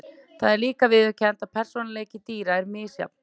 Það er líka viðurkennt að persónuleiki dýra er misjafn.